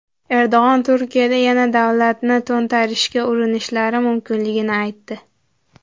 Erdo‘g‘on Turkiyada yana davlatni to‘ntarishga urinishlari mumkinligini aytdi.